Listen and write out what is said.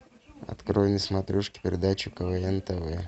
открой на смотрешке передачу квн тв